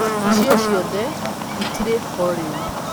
Icio ciothe itirĩ ho rĩu.